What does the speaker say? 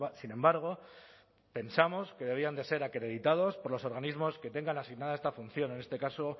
sin embargo pensamos que deberían de ser acreditados por los organismos que tengan asignada esta función en este caso